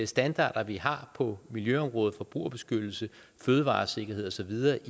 standarder vi har på miljøområdet forbrugerbeskyttelse fødevaresikkerhed og så videre